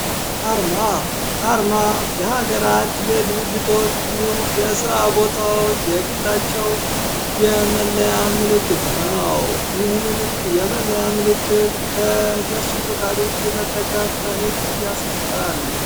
አርማ አርማ የሀገራት የድርጅቶች እንዲሁም የስራ ቦታወች የግላቸው የመለያ ምልክት ነው። ይህንንም የመለያ ምልክት ከነሱ ፈቃድ ውጪ መጠቀም በህግ ያስቀጣል።